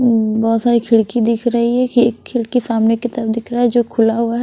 ब बहुत सारी खिड़की दिख रही है एक खिड़की सामने की तरफ दिख रहा है जो खुला हुआ है।